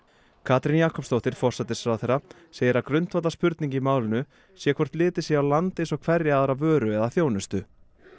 Katrín Jakobsdóttir forsætisráðherra segir að grundvallarspurning í málinu sé hvort litið sé á land eins og hverja aðra vöru eða þjónustu